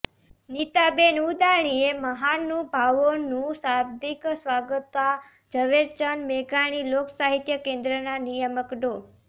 નીતાબેન ઉદાણીએ મહાનુભાવોનું શાબ્દિક સ્વાગત તા ઝવેરચંદ મેઘાણી લોકસાહિત્ય કેન્દ્રના નિયામક ડો